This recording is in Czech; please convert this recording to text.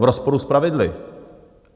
V rozporu s pravidly.